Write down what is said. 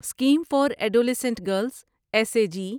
scheme for adolescent girls S A G